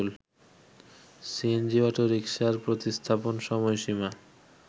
CNG অটোরিকশার প্রতিস্থাপন সময়সীমা